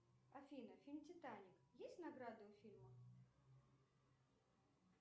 афина фильм титаник есть награды у фильма